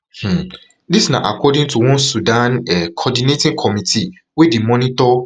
um dis na according to one sudan um coordinating committee wey dey monitor